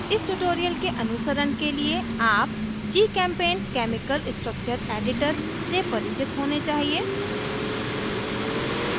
इस ट्यूटोरियल के अनुसरण के लिए आप gchempaint केमिकल स्ट्रक्चर एडिटर से परिचित होने चाहिए